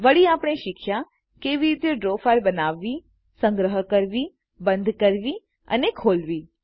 વળી આપણે શીખ્યા કેવી રીતે ડ્રો ફાઈલ બનાવવીસંગ્રહ કરવીબંધ કરવી અને ખોલવી